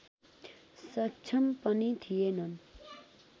सक्षम पनि थिएनन्